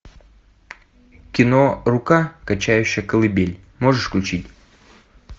кино рука качающая колыбель можешь включить